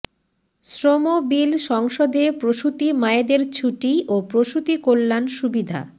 শ্রম বিল সংসদে প্রসূতি মায়েদের ছুটি ও প্রসূতিকল্যাণ সুবিধা